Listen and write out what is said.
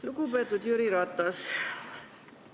Lugupeetud Jüri Ratas!